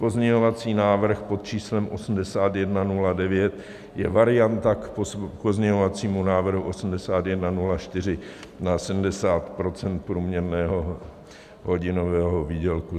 Pozměňovací návrh pod číslem 8109 je varianta k pozměňovacímu návrhu 8104 na 70 % průměrného hodinového výdělku.